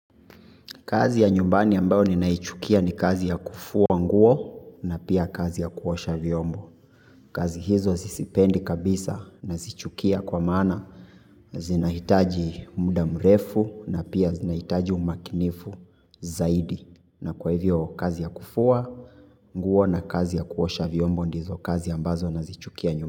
Kazi ya nyumbani ambayo ni naichukia ni kazi ya kufua nguo na pia kazi ya kuosha vyombo. Kazi hizo siziipendi kabisa nazichukia kwa maana zinahitaji muda mrefu na pia zinahitaji umakinifu zaidi. Na kwa hivyo, kazi ya kufua nguo na kazi ya kuosha vyombo ndizo kazi ambazo nazichukia nyu.